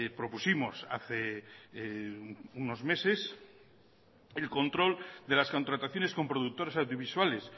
propusimos hace unos meses el control de las contrataciones con productores audiovisuales